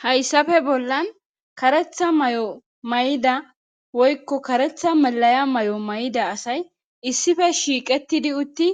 Hayssafe bollan karetha may7o may7ida woykko karetha malaya may7o may7ida asay issife shiiqetidi utti